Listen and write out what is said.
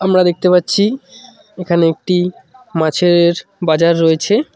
আমরা দেখতে পাচ্ছি এখানে একটি মাছের বাজার রয়েছে।